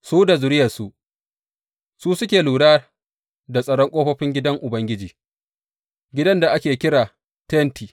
Su da zuriyarsu, su suke lura da tsaron ƙofofin gidan Ubangiji, gidan da ake kira Tenti.